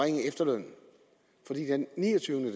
den niogtyvende